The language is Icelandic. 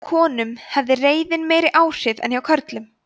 hjá konum hafði reiðin meiri áhrif en hjá körlum